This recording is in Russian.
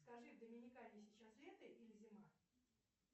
скажи в доминикане сейчас лето или зима